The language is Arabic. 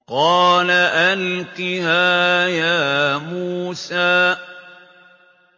قَالَ أَلْقِهَا يَا مُوسَىٰ